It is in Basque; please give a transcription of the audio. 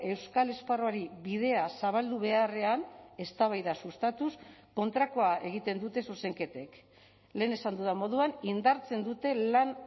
euskal esparruari bidea zabaldu beharrean eztabaida sustatuz kontrakoa egiten dute zuzenketek lehen esan dudan moduan indartzen dute lan